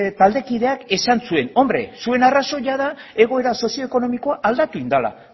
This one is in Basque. taldekideak esan zuen hombre zuen arrazoia da egoera sozioekonomikoa aldatu egin dela